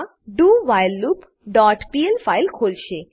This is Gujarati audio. મા dowhileloopપીએલ ફાઈલ ખોલશે